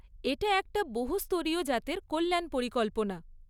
এটা একটা বহুস্তরীয় জাতের কল্যাণ পরিকল্পনা।